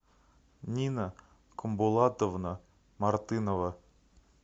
нина комбулатовна мартынова